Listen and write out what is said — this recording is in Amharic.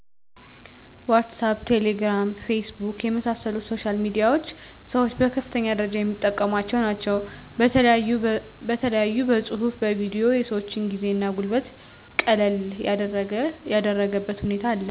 ዋሳፕ :ቴሌግራም :ፌስቡክ የመሣሰሉት ሶሻል ሚዲያዎች ሠወች በከፍተኛ ደረጃ የሚጠቀሟቸው ናቸው በተለያዮ በፅሁፉ በቪዲዮ የሰወችን ጊዜ እና ጉልበት ቀለል ያደረገበት ሁኔታ አለ